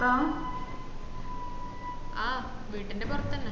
ആഹ് വീട്ടിന്റെ പൊർതന്നെ